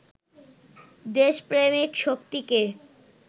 দেশপ্রেমিক শক্তিকে